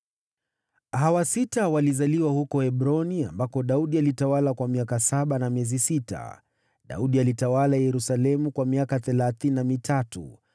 Hawa sita walizaliwa huko Hebroni ambako Daudi alitawala kwa miaka saba na miezi sita. Daudi alitawala Yerusalemu kwa miaka thelathini na mitatu,